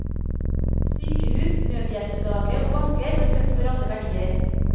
Sykehus, nødhjelpslagre og banker ble tømt for alle verdier.